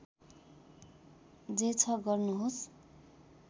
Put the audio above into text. जे छ गर्नुहोस्